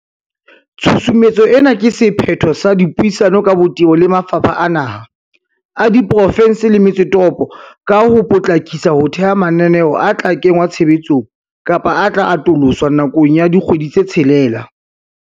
Tshusumetso ena ke se phetho sa dipuisano ka botebo le mafapha a naha, a diprofe nse le metse toropo ka ho po tlakisa ho theha mananeo a tla kengwa tshebetsong kapa a tla atoloswa nakong ya dikgwedi tse tshelela.